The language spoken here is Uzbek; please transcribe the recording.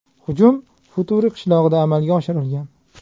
Hujum Futuri qishlog‘ida amalga oshirilgan.